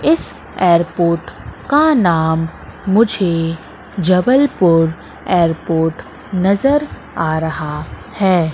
इस एयरपोर्ट का नाम मुझे जबलपुर एयरपोर्ट नजर आ रहा है।